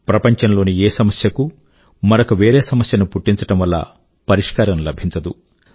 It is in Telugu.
ప్రపంచం లోని ఏ సమస్యకూ మరొక వేరే సమస్య ను పుట్టించడం వల్ల పరిష్కారం లభించదు